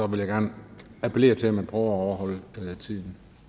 vil jeg gerne appellere til at man at overholde tiden